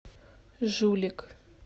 жулик